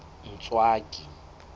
ntswaki